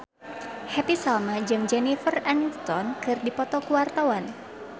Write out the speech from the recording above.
Happy Salma jeung Jennifer Aniston keur dipoto ku wartawan